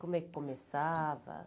Como é que começava?